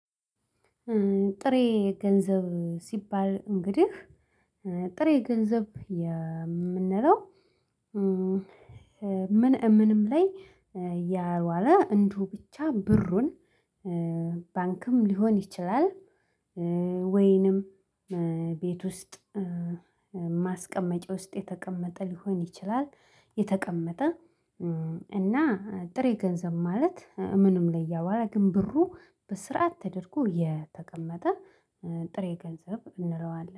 ጥሬ ገንዘብ ሲባል እንግዲህ ጥሬ ገንዘብ የምንለው? ምን እምንም ላይ ያልዋለ እንደሁ ብቻ ብሩን ባንክም ሊሆን ይችላል። ወይንም ቤት ውስጥ ማስቀመጫ ውስጥ የተቀመጠ ሊሆን ይችላል። የተቀመጠ እና ጥሬ ገንዘብ ማለት ምንም ላይ እያወራ ግን ብሩ በስርዓት ተደርጎ የተቀመጠ ጥሬ ገንዘብ እንለዋለን